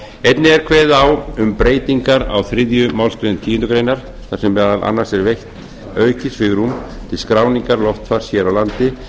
einnig er kveðið á um breytingar á þriðju málsgreinar tíundu greinar þar sem meðal annars er veitt aukið svigrúm til skráningar loftfars hér á landi